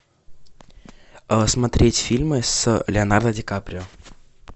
смотреть фильмы с леонардо ди каприо